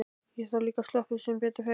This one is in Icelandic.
Þar hef ég líka sloppið sem betur fer.